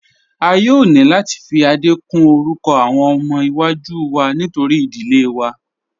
A yóò ni láti fi Adé kún orúkọ awọn ọmọ iwa-jú wá nítorí idílé wá.